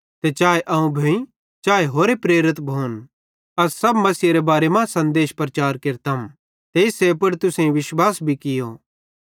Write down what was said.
ते चाए अवं भोइ चाए होरे प्रेरित भोन अस तैस मसीहेरे बारे मां सन्देश प्रचार केरतम ते इस्से पुड़ तुसेईं भी विश्वास कियो